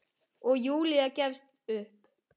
Og Júlía gefst upp.